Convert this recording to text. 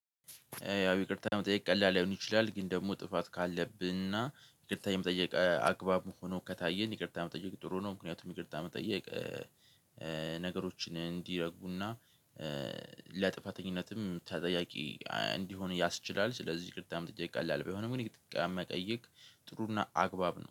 ይቅርታ መጠየቅ ቀላል ላይሆን ይችላል ግን ደግሞ ጥፋት ካለብንና ይቅርታ የመጠየቅ አግባብ ሆኖ ከታየን ይቅርታ መጠየቅ ጥሩ ነው። ምክንያቱም ይቅርታ መጠየቅ ነገሮችን እንዲረጉና ለጥፋተኝነትም ተጠያቂ እንዲሆን ያስችላል። ስለዚህ ይቅርታ መጠየቅ ቀላል ባይሆንም እንግዲህ ይቅርታ መጠየቅ ጥሩና አግባብ ነው